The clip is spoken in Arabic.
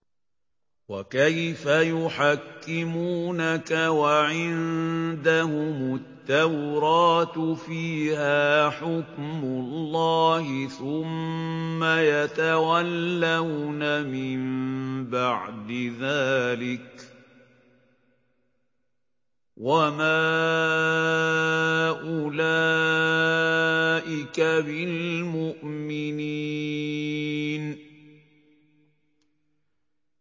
وَكَيْفَ يُحَكِّمُونَكَ وَعِندَهُمُ التَّوْرَاةُ فِيهَا حُكْمُ اللَّهِ ثُمَّ يَتَوَلَّوْنَ مِن بَعْدِ ذَٰلِكَ ۚ وَمَا أُولَٰئِكَ بِالْمُؤْمِنِينَ